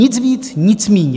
Nic víc, nic míň.